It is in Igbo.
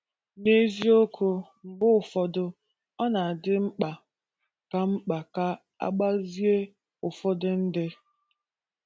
N’eziokwu, mgbe ụfọdụ, ọ na-adị mkpa ka mkpa ka a gbazie ụfọdụ ndị